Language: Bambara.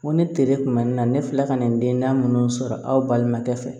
Ko ne teri kun mɛna n na ne filɛ ka na n den da minnu sɔrɔ aw balimakɛ fɛ